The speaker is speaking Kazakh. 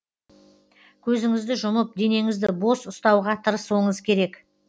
көзіңізді жұмып денеңізді бос ұстауға тырысуыңыз керек